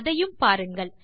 அதையும் பாருங்கள்